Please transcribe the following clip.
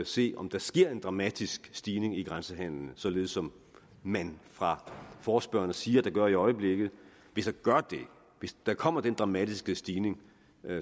se om der sker en dramatisk stigning i grænsehandelen således som man fra forespørgernes side siger der gør i øjeblikket hvis hvis der kommer den dramatiske stigning